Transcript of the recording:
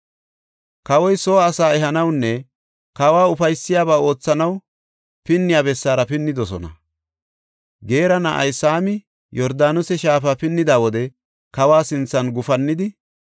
Kawa soo asaa ehanawunne kawa ufaysiyabaa oothanaw pinniya bessaara pinnidosona. Geera na7ay Saami Yordaanose shaafa pinnida wode kawa sinthan gufannidi,